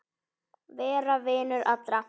Vera vinur allra?